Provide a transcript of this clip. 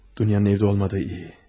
Dünyanın evdə olmadığı yaxşı.